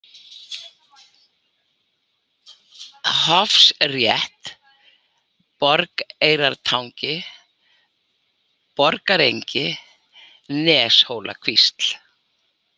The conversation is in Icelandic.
Hofsafrétt, Borgareyratangi, Borgarengjar, Neshólakvísl